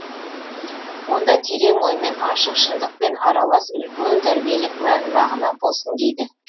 онда терең оймен ашық шыңдықпен аралас үлкен тәрбиелік мән мағына болсын дейді